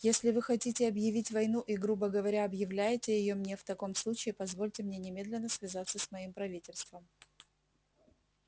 если вы хотите объявить войну и грубо говоря объявляете её мне в таком случае позвольте мне немедленно связаться с моим правительством